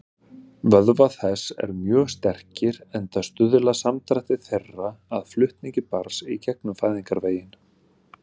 Vöðvar þess eru mjög sterkir, enda stuðla samdrættir þeirra að flutningi barns í gegnum fæðingarveginn.